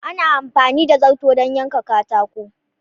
Ana amfani da zarto don yanke katako.